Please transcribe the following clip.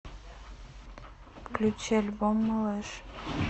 включи альбом малыш